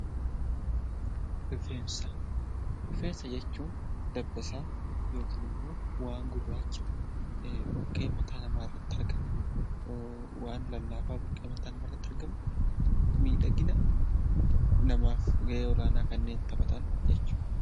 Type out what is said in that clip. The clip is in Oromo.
Rifeensa. Rifeensa jechuun dabbasaa yokin immoo waan gurraacha buqqee mataa namaarratti argamu waan lallaafaa buqqee mataa namaarratti argamu miidhagina namaaf ga'ee olaanaa kanneen taphatan jechuudha.